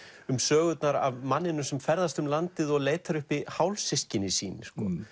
um sögurnar af manninum sem ferðast um landið og leitar uppi hálfsystkini sín